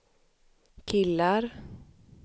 killar